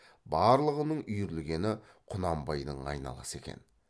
барлығының үйірілгені құнанбайдың айналасы екен